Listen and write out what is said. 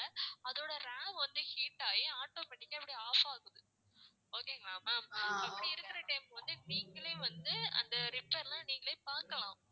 அதோட RAM வந்து heat ஆகி automatic ஆ இப்படி off ஆகுது okay ங்களா ma'am இப்படி இருக்கிற time வந்து நீங்களே வந்து அந்த repair லாம் நீங்களே பார்க்கலாம்